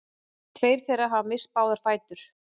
Tveir þeirra hafa misst báða fætur